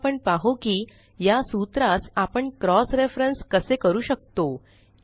आता आपण पाहु की या सूत्रास आपण क्रॉस रेफरन्स कसे करू शकतो